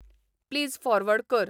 please forward कर